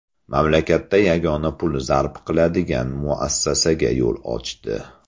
Mamlakatda yagona pul zarb qiladigan muassasaga yo‘l ochdi.